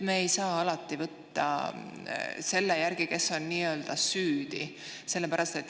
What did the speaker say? Me ei saa alati võtta selle järgi, kes on nii-öelda süüdi.